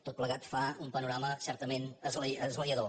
tot plegat fa un panorama certament esglaiador